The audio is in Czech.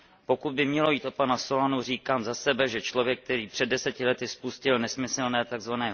Pokud by mělo jít o pana Solanu, říkám za sebe, že člověk, který před deseti lety spustil nesmyslné, tzv.